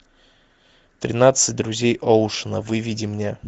тринадцать друзей оушена выведи мне